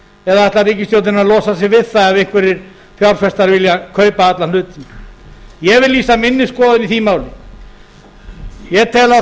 eða ætlar ríkisstjórnin að losa sig við það ef einhverjir fjárfestar vilja kaupa alla hluti ég vil lýsa minni skoðun á því máli ég tel að